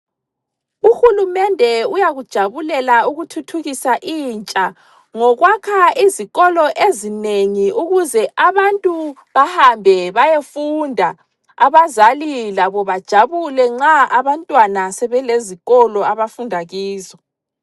Uhulumende uyakujabulela ukuthuthukisa intsha ngokwakha izikolo ezinengi ukuze abantu bahambe bayefunda, abazali labo bajabule nxa abantwana sebelezikolo abafunda kizo.